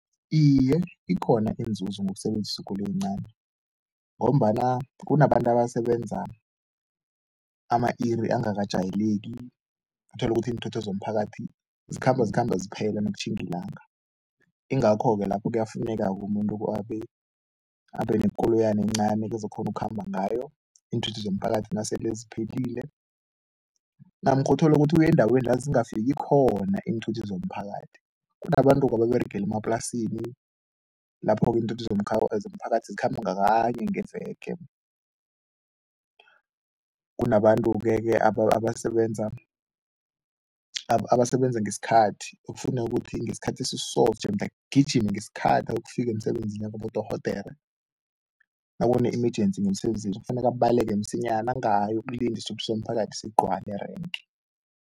Iye, ikhona inzuzo ngokusebenzisa ikoloyi encani ngombana kunabantu abasebenza ama-iri angakajayeleki, uthole ukuthi iinthuthi zomphakathi zikhamba zikhamba ziphela nakutjhinga ilanga, ingakho-ke lapho kuyafuneka-ke umuntu abenekoloyana encani kuzokukghona ukukhamba ngayo, iinthuthi zomphakathi nasele ziphelile namkha uthole ukuthi uye endaweni la zingafiki khona iinthuthi zomphakathi. Kunabantu-ke ababeregela emaplasini lapho-ke iinthuthi zomphakathi zikhamba ngakanye ngeveke. Kunabantu-ke abasebenza ngesikhathi, okufuneka ukuthi ngesikhathi esiso jemude agijime, ngesikhathi ayokufika emsebenzini. Nakubodorhodere, nakune-emergency ngemsebenzini, sekufuneka abaleke msinyana, angayokulinda isithuthi somphakathi sigcwale erenke.